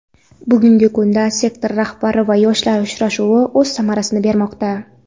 Bugungi kunda "Sektor rahbari va yoshlar uchrashuvi" o‘z samarasini bermoqda.